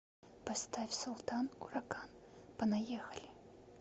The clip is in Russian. поставь султан ураган понаехали